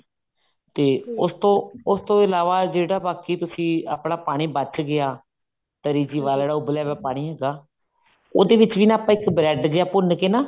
ਤੇ ਉਸਤੋਂ ਉਸਤੋਂ ਇਲਾਵਾ ਜਿਹੜਾ ਬਾਕੀ ਤੁਸੀਂ ਆਪਣਾ ਪਾਣੀ ਬਚ ਗਿਆ ਤਰੀ ਚ ਪਾ ਲੈਣਾ ਉਬਲਿਆ ਹੋਇਆ ਪਾਣੀ ਹੈਗਾ ਉਹਦੇ ਵਿੱਚ ਵੀ ਆਪਾਂ ਇੱਕ bread ਜਾ ਭੁੰਨ ਕੇ ਨਾ